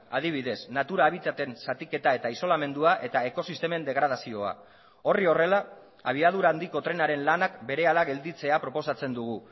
adibidez natura habitaten zatiketa eta isolamendua eta ekosistemen degradazioa horri horrela abiadura handiko trenaren lanak berehala gelditzea proposatzen dugu